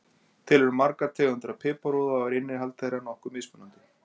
Til eru margar tegundir af piparúða og er innihald þeirra nokkuð mismunandi.